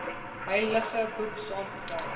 heilige boek saamgestel